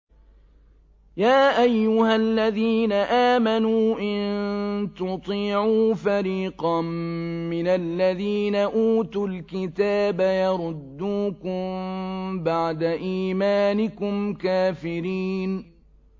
يَا أَيُّهَا الَّذِينَ آمَنُوا إِن تُطِيعُوا فَرِيقًا مِّنَ الَّذِينَ أُوتُوا الْكِتَابَ يَرُدُّوكُم بَعْدَ إِيمَانِكُمْ كَافِرِينَ